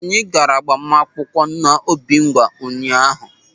Anyị gaara agbamakwụkwọ n'Obingwa ụnyaahụ.